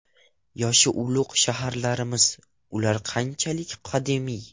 Yoshi ulug‘ shaharlarimiz: ular qanchalik qadimiy?.